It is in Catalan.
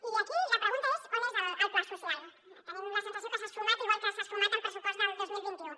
i aquí la pregunta és on és el pla social tenim la sensació que s’ha esfumat igual que s’ha esfumat el pressupost del dos mil vint u